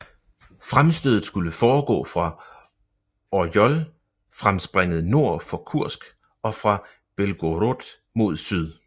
Fremstødet skulle foregå fra Orjol fremspringet nord for Kursk og fra Belgorod mod syd